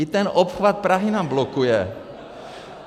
I ten obchvat Prahy nám blokuje.